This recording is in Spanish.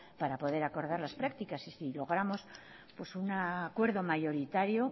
para poder acordar las prácticas y si logramos un acuerdo mayoritario